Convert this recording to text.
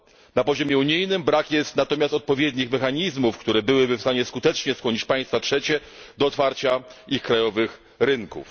Na poziomie unijnym brak jest natomiast odpowiednich mechanizmów, które byłyby w stanie skutecznie skłonić państwa trzecie do otwarcia ich krajowych rynków.